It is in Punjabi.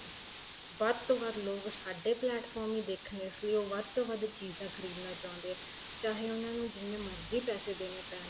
ਵੱਧ ਤੋ ਵੱਧ ਲੋਕ ਸਾਡੇ plate from ਹੀ ਦੇਖਣੇ ਇਸ ਲਈ ਉਹ ਵੱਧ ਤੋ ਵੱਧ ਚੀਜ਼ਾਂ ਖਰੀਦਣਾ ਚਾਹੁੰਦੇ ਏ ਚਾਹੇ ਉਹਨਾ ਨੂੰ ਜਿੰਨੇ ਮਰਜੀ ਪੈਸੇ ਦੇਣੇ ਪੈਣ